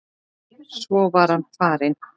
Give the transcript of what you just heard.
Svo var hann farinn.